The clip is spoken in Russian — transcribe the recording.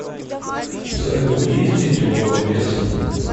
салют есть дети у голодец